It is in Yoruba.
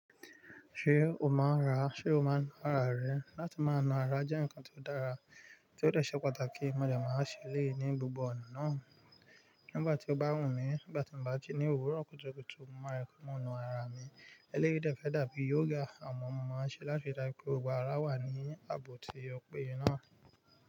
Ṣé o máa ń ra? Ṣé o máa ń rara rẹ? Látí máa ma ra jẹ́ ǹkan tó dára tí ó de ṣé pàtàkì mo dẹ̀ má ṣe léè ní gbogbo ọ̀nà nà Nígbà tí o bá wù mí, nígbà tí mo bá jí ní òwúrọ̀ kùtùkùtù, mo máa rẹkọ̀mo nu ara mi. Eléyì dè fé dàbí yoga àmọ́ mo máa ń ṣe láti ríi dájú pé gbogbo ara wà ní ààbò ti ọ pẹ́ye náà.